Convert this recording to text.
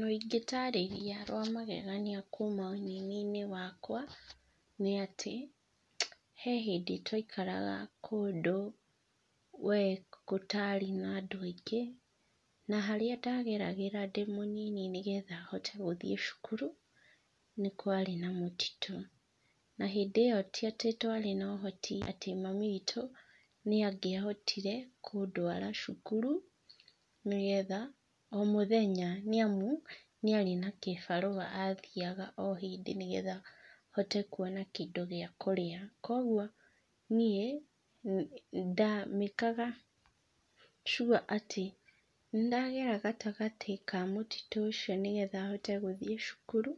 Rũgano ingĩtaarĩria rwa magegania kuuma ũnini-inĩ wakwa nĩ atĩ, he hĩndĩ twaikaraga kũndũ we gũtarĩ na andũ aingĩ, na harĩa ndageragĩra ndĩ mũnini nĩ handũ nĩgetha hote gũthiĩ cukuru nĩ kwarĩ na mũtitũ. Na hĩndĩ ĩyo ti atĩ twarĩ na ũhoti atĩ mami witũ nĩ angĩhotire kũndwara cukuru nĩgetha, o mũthenya, nĩ amu nĩ arĩ na kĩbarũa athiaga o hĩndĩ nĩgetha hote kwona kĩndũ gĩa kũrĩa. Koguo niĩ ndamĩkaga sure atĩ nĩ ndagera gatagatĩ ka mũtitũ ũcio nĩgetha hote gũthiĩ cukuru